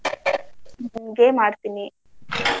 ಮತ್ತೆ game ಆಡ್ತೀನಿ.